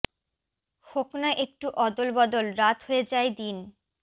হোক না একটু অদল বদল রাত হয়ে যায় দিন